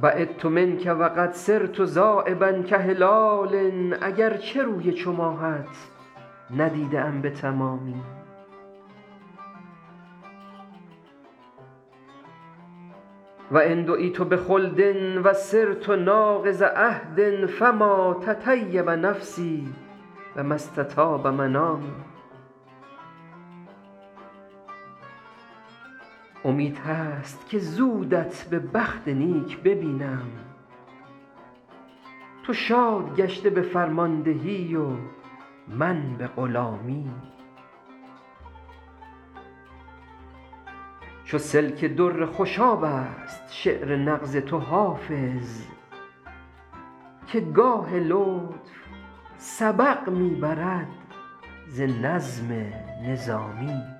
بعدت منک و قد صرت ذایبا کهلال اگر چه روی چو ماهت ندیده ام به تمامی و إن دعیت بخلد و صرت ناقض عهد فما تطیب نفسی و ما استطاب منامی امید هست که زودت به بخت نیک ببینم تو شاد گشته به فرماندهی و من به غلامی چو سلک در خوشاب است شعر نغز تو حافظ که گاه لطف سبق می برد ز نظم نظامی